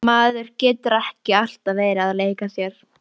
Maður getur ekki alltaf verið að leika sér.